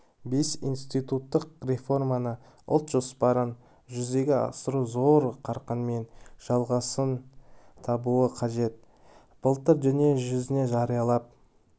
бес институттық реформаны ұлт жоспарын жүзеге асыру зор қарқынмен жалғасын табуы қажет былтыр дүние жүзіне жариялап